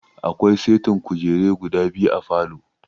Akwai setin kujure guda biyu a falow